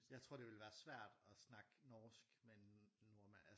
Jeg tror det ville være svært at snakke norsk med en nordmand altså